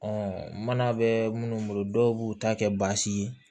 mana bɛ minnu bolo dɔw b'u ta kɛ baasi ye